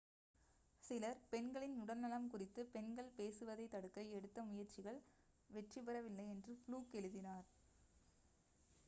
சிலர் பெண்களின் உடல்நலம் குறித்து பெண்கள் பேசுவதைத் தடுக்க எடுத்த முயற்சிகள் வெற்றி பெற வில்லை என்று ஃப்ளுக் எழுதினார்